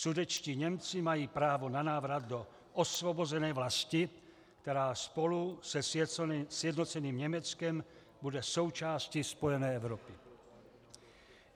Sudetští Němci mají právo na návrat do osvobozené vlasti, která spolu se sjednoceným Německem bude součástí spojené Evropy.